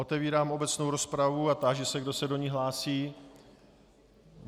Otvírám obecnou rozpravu a táži se, kdo se do ní hlásí.